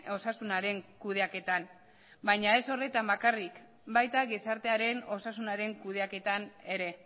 osasunaren kudeaketan baina ez horretan bakarrik baita gizartearen osasunaren kudeaketan ere